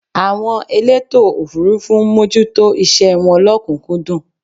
àwọn elétò òfurufú ń mójútó iṣẹ wọn lọ́kùnkúndùn